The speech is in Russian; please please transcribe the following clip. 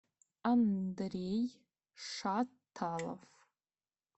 андрей шаталов